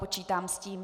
Počítám s tím.